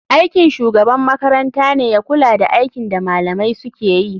Aikin shugaban makarantane ya kula da aikin da malamai sukeyi.